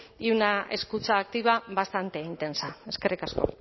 y escucha activa bastante intensa eskerrik asko